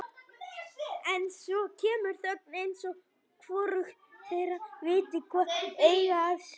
En svo kemur þögn eins og hvorugt þeirra viti hvað eigi að segja.